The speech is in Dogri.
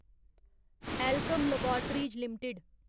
Alkem laboratories limited